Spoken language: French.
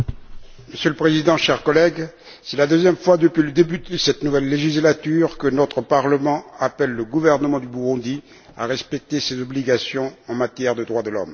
Monsieur le Président, chers collègues, c'est la deuxième fois depuis le début de cette nouvelle législature que notre Parlement appelle le gouvernement du Burundi à respecter ses obligations en matière de droits de l'homme.